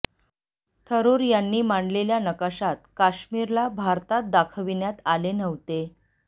थरूर यांनी मांडलेल्या नकाशात काश्मीरला भारतात दाखविण्यात आले नव्हते